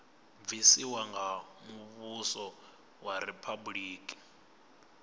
bvisiwa nga muvhuso wa riphabuliki